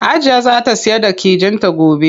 Hajiya zaa ta siyar da kijin ta gobe.